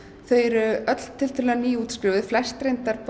þau eru öll tiltölulega nýútskrifuð flest